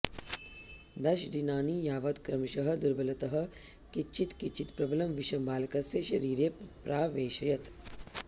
दश दिनानि यावत् क्रमशः दुर्बलतः किञ्चित् किञ्चित् प्रबलं विषं बालकस्य शरीरे प्रावेशयत्